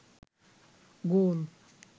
গোল